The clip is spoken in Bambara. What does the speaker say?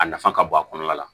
A nafa ka bon a kɔnɔna la